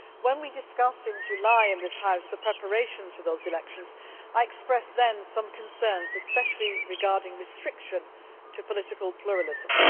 When we discussed in July in this House the preparations for those elections, I expressed then some concerns, especially regarding restrictions to political pluralism.